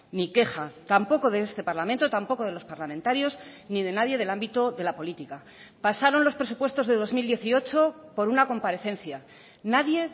ni queja tampoco de este parlamento tampoco de los parlamentarios ni de nadie del ámbito de la política pasaron los presupuestos de dos mil dieciocho por una comparecencia nadie